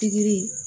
Pikiri